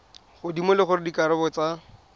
godimo le gore dikarabo tsa